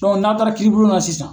n'a taara kiiribulon na sisan